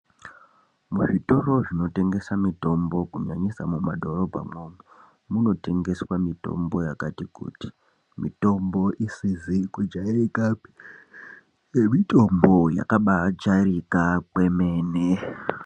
Muzvitoro zvinotengesa mitombo kunyanyisa mumadhorobha mwoumwo munotengeswa mitombo yakati kuti mitombo isizi kujairikapi nemitombo yakabajairika kwemene.